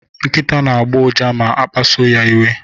Nkịta na-agbọ ụja ma a kpasuru ya iwe.